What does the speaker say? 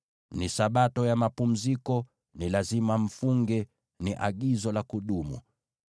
Ni Sabato ya mapumziko, na lazima mfunge; ni agizo la kudumu.